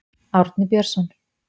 Árni Björnsson.